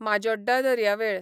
माजोड्डा दर्यावेळ